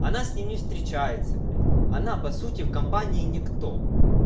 она с ним не встречается блядь она по сути в компании никто